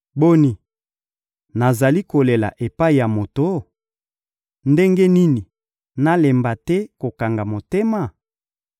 Boni, nazali kolela epai ya moto? Ndenge nini nalemba te kokanga motema?